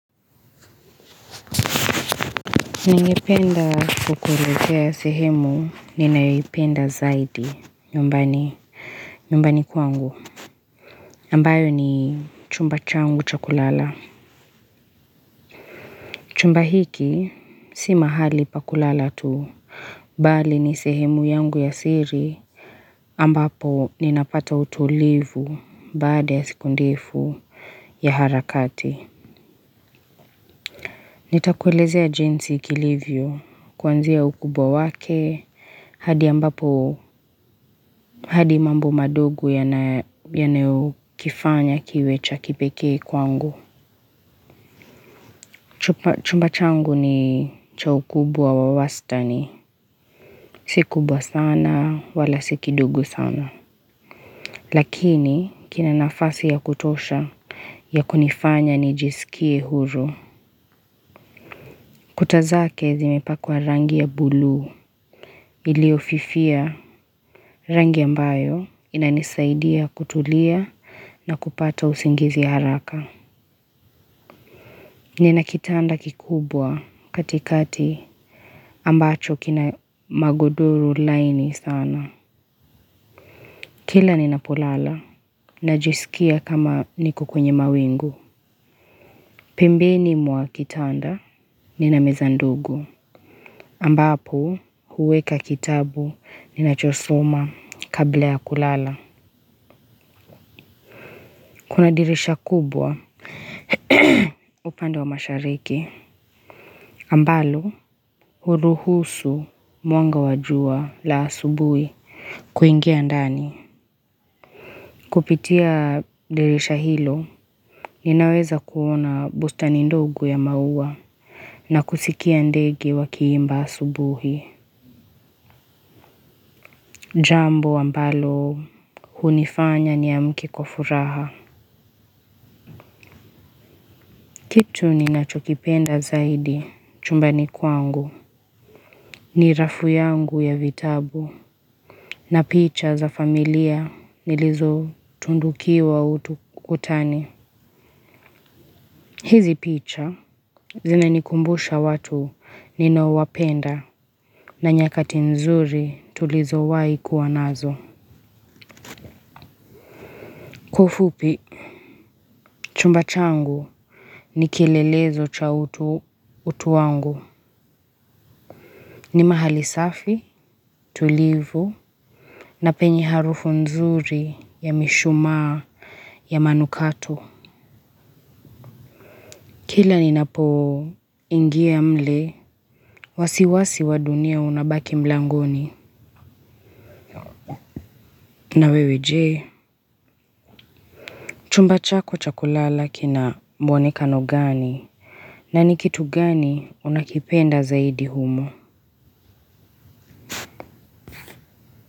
Ningependa kukuezea ya sehemu, ninayoipenda zaidi, nyumbani kwangu. Ambayo ni chumba changu cha kulala. Chumba hiki, si mahali pa kulala tu. Bali ni sehemu yangu ya siri, ambapo ninapata utulivu baada ya sikundefu ya harakati. Nitakuelezea jinsi kilivyo, kwanzia ukubwa wake, hadi ambapo, hadi mambo madogo yanayo kifanya kiwe cha kipeke kwangu. Chumba changu ni cha ukubwa wa wastani, si kubwa sana, wala si kidogo sana. Lakini, kina nafasi ya kutosha, ya kunifanya nijisikie huru. Kuta zake zimipakwa rangi ya bulu, ilio fifia rangi ambayo inanisaidia kutulia na kupata usingizi haraka. Nina kitanda kikubwa katikati ambacho kina magodoro laini sana. Kila ninapolala, najisikia kama niko kwenye mawingu. Pembeni mwa kitanda ninameza ndogo. Ambapo huweka kitabu ninachosoma kabla ya kulala. Kuna dirisha kubwa upande wa mashariki. Ambalo huruhusu mwanga wa jua la asubuhi kuingia ndani. Kupitia dirisha hilo ninaweza kuona bustani ndogo ya maua na kusikia ndege wakiimba asubuhi. Jambo ambalo hunifanya niamke kwa furaha. Kitu ni nachokipenda zaidi chumba ni kwangu ni rafu yangu ya vitabu na picha za familia nilizo tundukiwa utu kutani. Hizi picha zina nikumbusha watu ninao wapenda na nyakati nzuri tulizowaikuwa nazo. Kwa ufupi chumba changu ni kilelezo cha utu wangu ni mahali safi, tulivu na penye harufu nzuri ya mishuma ya manukato. Kila ni napo ingia mle. Wasiwasi wa dunia unabaki mlangoni. Na wewe je. Chumba chako cha kulala kina mwonekano gani. Na ni kitu gani unakipenda zaidi humo.